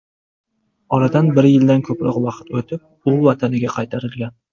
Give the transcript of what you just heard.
Oradan bir yildan ko‘proq vaqt o‘tib, u vataniga qaytarilgan.